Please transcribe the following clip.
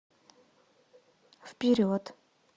вперед